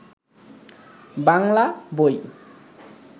বাংলা বই